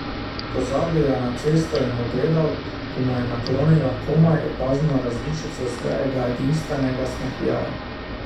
Pozabil je na cesto in jo gledal, ko mu je naklonila komaj opazno različico svojega edinstvenega smehljaja.